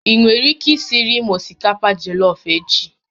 Ị nwere ike isiiri m osikapa jollof echi?